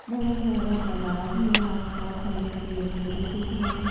बड़ा सारा तालाब है आस पास हरे पेड़ पौधे दिख रहे--